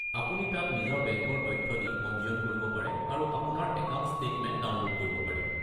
আপুনি তাত নিজৰ বেংকৰ তথ্য দি পঞ্জিয়ন কৰিব পাৰে আৰু আপোনাৰ একাউণ্ট ষ্টেটমেণ্ট ডাউনলোড কৰিব পাৰে।